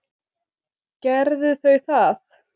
Gerðu þau það.